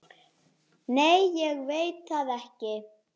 Óskar leit í kringum sig.